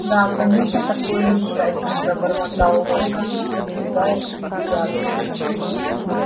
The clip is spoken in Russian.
да конечно такое несчастье пробормотал локонс избегая их взглядов